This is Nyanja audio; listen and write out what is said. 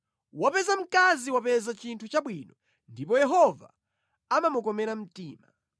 Wapeza mkazi wapeza chinthu chabwino ndipo Yehova amamukomera mtima.